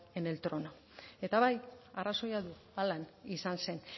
en el trono eta bai arrazoia du halan izan zen